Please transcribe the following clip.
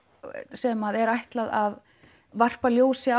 sem er ætlað að varpa ljósi